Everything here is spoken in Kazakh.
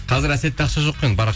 қазір әсетте ақша жоқ қой енді